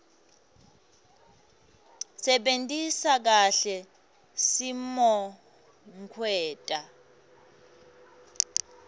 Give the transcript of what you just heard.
sebentisa kahle simokwenta